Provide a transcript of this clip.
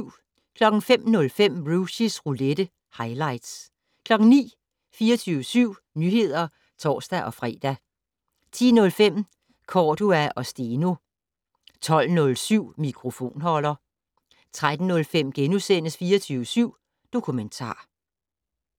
05:05: Rushys roulette - highlights 09:00: 24syv Nyheder (tor-fre) 10:05: Cordua & Steno 12:07: Mikrofonholder 13:05: 24syv Dokumentar *